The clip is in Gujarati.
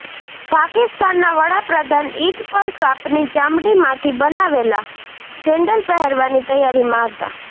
પાકિસ્તાનના વડાપ્રધાન ઇદ પર સાપની ચામડીમાંથી બનેલા સેન્ડલ પહેરવાની તૈયારીમાં હતા